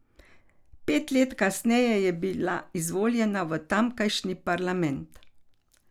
Pet let kasneje je bila izvoljena v tamkajšnji parlament.